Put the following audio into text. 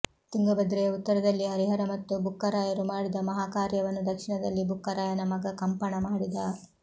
ತುಂಗಭದ್ರೆಯ ಉತ್ತರದಲ್ಲಿ ಹರಿಹರ ಮತ್ತು ಬುಕ್ಕರಾಯರು ಮಾಡಿದ ಮಹಾಕಾರ್ಯವನ್ನು ದಕ್ಷಿಣದಲ್ಲಿ ಬುಕ್ಕರಾಯನ ಮಗ ಕಂಪಣ ಮಾಡಿದ